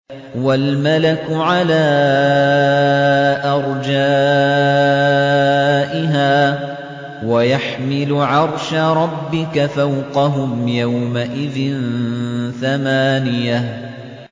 وَالْمَلَكُ عَلَىٰ أَرْجَائِهَا ۚ وَيَحْمِلُ عَرْشَ رَبِّكَ فَوْقَهُمْ يَوْمَئِذٍ ثَمَانِيَةٌ